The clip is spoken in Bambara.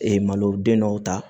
maloden dɔw ta